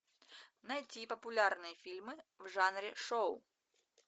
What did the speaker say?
найти популярные фильмы в жанре шоу